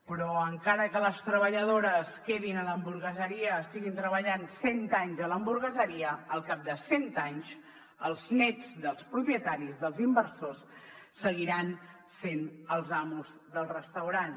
però encara que les treballadores quedin a l’hamburgueseria estiguin treballant cent anys a l’hamburgueseria al cap de cent anys els nets dels propietaris dels inversors seguiran sent els amos del restaurant